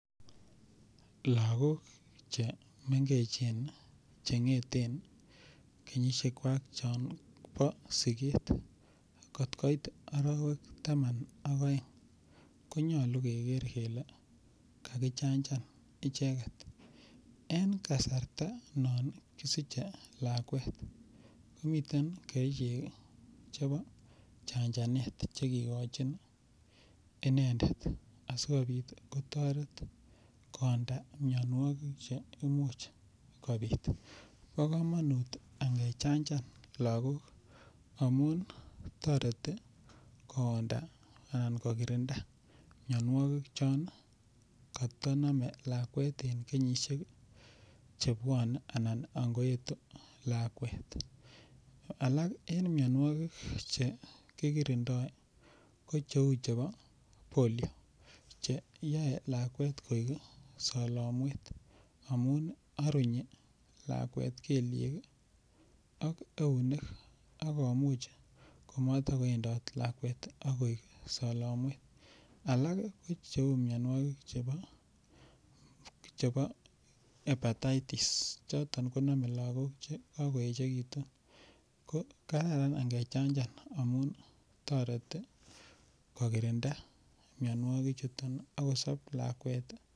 Lokok chemengechen chengeten kenyishek kwak chon bo simet kokoit orowek taman ak oeng konyolu Keker kele kakichanchan icheket en kasarta non kosiche lakwet komiten kerichek chebo chanchanet chekikochin inendet asikopit kotoret kowonda mionwokik che imuch kobit. Bo komonut angechanchan lokok amun toreti kooda ana kokirinda mionwokik chon kotonome lakwet en kenyishek chebwone ana ankoetu lakwet. Alak en mionwokik chekikirindo ko cheu chebo polio cheyoe lakwet koik solomwet amun orunyi lakwet kelyek ak eunek ak komuch komotok kowendot lakwet ak koik solomwet . Alak ko cheu mionwokik chebo hippetitis choton konome lokok chekokoyechekitu. Kararan angechanchan toretii kokirindaa mionwokik chuton ak kosob lakwet tii.